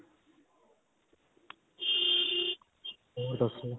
ਹੋਰ ਦੱਸੋ.